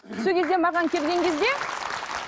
сол кезде маған келген кезде